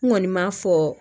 N kɔni m'a fɔ